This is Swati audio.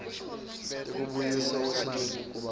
tekubuyiswa kwesimilo kubantfu